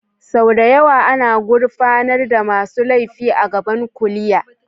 Sau da yawa ana gurfanar da masu laifi a gaban kuliya.